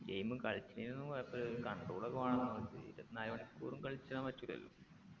game കളിച്ചിനിന്നൊന്നും കൊഴപ്പുല്ല ഒരു control ഒക്കെ വേണം ഇരുപത്തിനാലു മണിക്കൂറും കളിച്ചാൻ പറ്റൂലല്ലോ